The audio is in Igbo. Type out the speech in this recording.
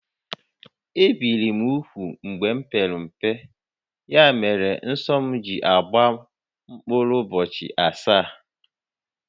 Ebìri m úgwù mgbe m pere mpe, ya mere nsọ m ji agbaru mkpụrụ ụbọchị asaá